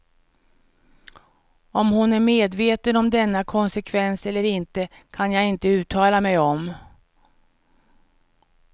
Om hon är medveten om denna konsekvens eller inte kan jag inte uttala mig om.